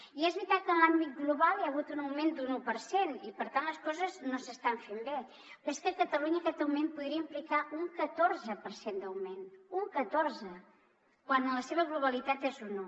i és veritat que en l’àmbit global hi ha hagut un augment d’un u per cent i per tant les coses no s’estan fent bé però és que a catalunya aquest augment podria implicar un catorze per cent d’augment un catorze quan en la seva globalitat és un u